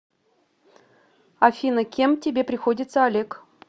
афина кем тебе приходится олег